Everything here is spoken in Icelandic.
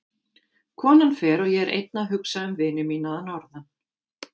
Konan fer og ég er einn að hugsa um vini mína að norðan.